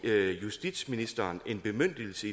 justitsministeren en bemyndigelse